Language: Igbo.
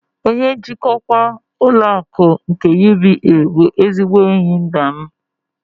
Onye njikwa ụlọ akụ nke UBA bụ ezigbo enyi nna m.